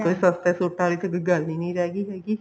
ਕੋਈ ਸਸਤੇ ਸੂਟਾਂ ਦੀ ਤਾਂ ਕੋਈ ਗੱਲ ਹੀ ਨਹੀਂ ਰਹਿ ਗਈ ਹੈਗੀ